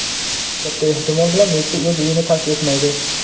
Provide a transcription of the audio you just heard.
Katta ehtimol bilan Messi o‘z uyini tark etmaydi.